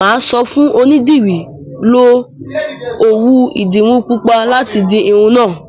Mà á sọ fún onídìrí, 'Lo òwú ìdiru pupa láti di irun náà'